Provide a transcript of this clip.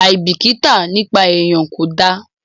Àìbìkítà nípa èèyan kò dáa.